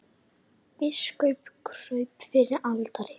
Biskup kraup fyrir altari.